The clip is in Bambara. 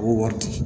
U b'o wari di